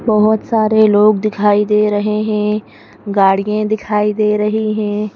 बहुत सारे लोग दिखाई दे रहे हैं गाड़िए दिखाई दे रही हैं।